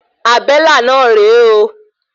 Àbélà náà rè é.